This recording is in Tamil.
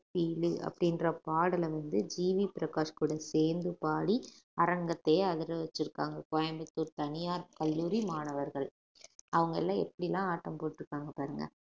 ரீலு அப்படின்ற பாடல வந்து ஜி வி பிரகாஷ் கூட சேர்ந்து பாடி அரங்கத்தையே அதிர வச்சிருக்காங்க கோயம்புத்தூர் தனியார் கல்லூரி மாணவர்கள் அவங்க எல்லாம் எப்படி எல்லாம் ஆட்டம் போட்டுருக்காங்க பாருங்க